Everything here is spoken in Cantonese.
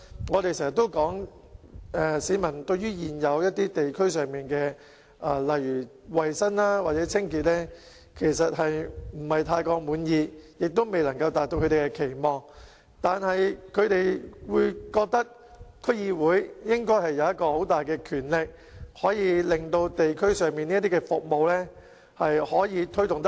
我們經常說市民對於現時地區上例如衞生或清潔等情況不太滿意，有關服務也未能達到他們的期望，但他們認為區議會應該擁有很大的權力，可以令地區上的服務推動得較好。